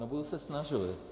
No, budu se snažit.